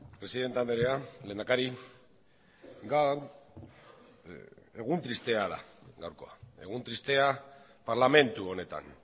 presidente andrea lehendakari gaur egun tristea da gaurkoa egun tristea parlamentu honetan